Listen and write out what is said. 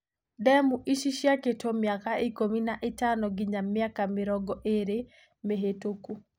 Demũ ici ciakĩtwo mĩaka ikumi na itano nginya mĩaka mirongo ĩĩri mĩvitũku.